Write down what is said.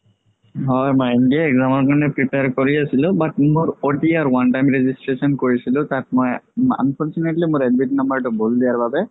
হয় NDA ৰ exam কাৰণে prepare কৰি আছিলো but মোৰ OTR one time registration কৰিছিলো তাত মই unfortunately মোৰ admit number তো ভুল দিয়া বাবে